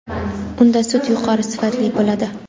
unda sut yuqori sifatli bo‘ladi.